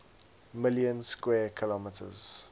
million square kilometers